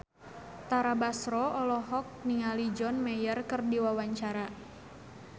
Tara Basro olohok ningali John Mayer keur diwawancara